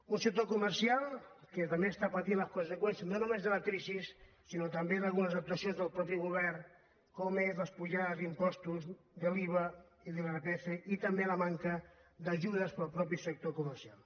un sector comercial que també està patint les conseqüències no només de la crisi sinó també d’algunes actuacions del govern com són les pujades d’impostos de l’iva i de l’irpf i també la manca d’ajudes per al sector comercial